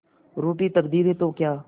रूठी तकदीरें तो क्या